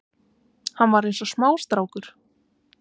Hann var eins og smástrákur